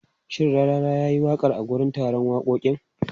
Shin Rarara ya yi waƙa a wurin wakokin?